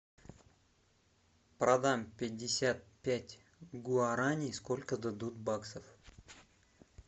продам пятьдесят пять гуарани сколько дадут баксов